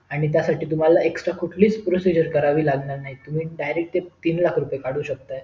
आणि त्यासाठी तुम्हला कुठलीच extra कुठलीच proseccing करावी लागणार नाही तुम्ही direct तीन लाख रुपया काढु शेकता